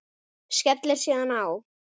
Skellir síðan á.